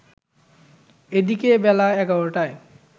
এদিকে বেলা ১১ টায়